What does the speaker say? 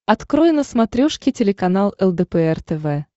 открой на смотрешке телеканал лдпр тв